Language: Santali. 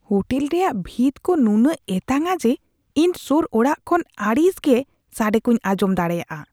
ᱦᱳᱴᱮᱞ ᱨᱮᱭᱟᱜ ᱵᱷᱤᱛ ᱠᱚ ᱱᱩᱱᱟᱹᱜ ᱮᱛᱟᱝᱼᱟ ᱡᱮ, ᱤᱧ ᱥᱳᱨ ᱚᱲᱟᱜ ᱠᱚ ᱠᱷᱚᱱ ᱟᱹᱲᱤᱥ ᱜᱮ ᱥᱟᱰᱮ ᱠᱚᱧ ᱟᱸᱡᱚᱢ ᱫᱟᱲᱮᱭᱟᱜᱼᱟ ᱾